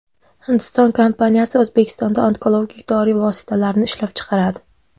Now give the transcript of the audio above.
Hindiston kompaniyasi O‘zbekistonda onkologik dori vositalarini ishlab chiqaradi.